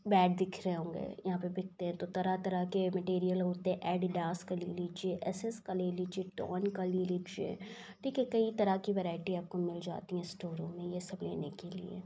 Bat दिख रहें होंगे यहाँ पर बिकते हैं तो तरह-तरह के मेटेरीयल होते एडीडास का ले लीजिए एस.एस. का ले लीजिए टोन का ले लीजिए देखिये कई तरह की वैरायटी आपको मिल जाती है स्टोर रूम में ये सब लेने के लिए।